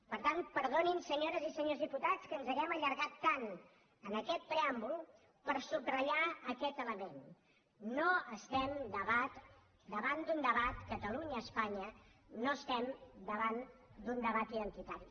per tant perdonin senyores i senyors diputats que ens hàgim allargat tant en aquest preàmbul per subratllar aquest element no estem davant d’un debat catalunyaespanya no estem davant d’un debat identitari